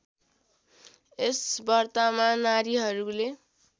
यस व्रतमा नारीहरूले